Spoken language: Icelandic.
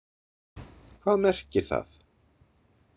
Hvað merkir það?